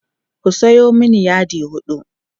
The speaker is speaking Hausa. ku Sayo mani yadi huɗu